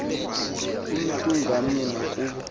umntu ngamnye nakubo